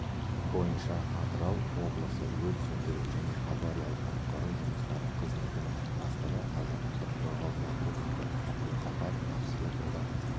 бойынша атырау облысы өрт сөндіру және авариялық-құтқару жұмыстары қызметінің бастығы азаматтық қорғау полковнигі абдулқапар жақсылықұлы